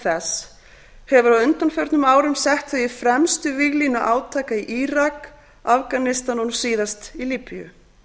þess hefur á undanförnum árum sett þau í fremstu víglínu átaka í írak afganistan og nú síðast líbíu